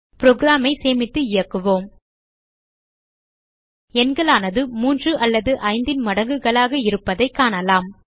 program ஐ சேமித்து இயக்குவோம் எண்களானது 3 அல்லது 5 ன் மடங்குகளாக இருப்பதைக் காணலாம்